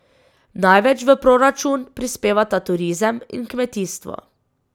Največ v proračun prispevata turizem in kmetijstvo.